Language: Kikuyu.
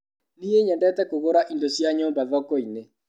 Niĩ nyendete kũgũra indo cia nyumba thokoinĩ.